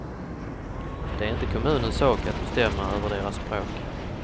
Det är inte kommunens sak att bestämma över deras språk.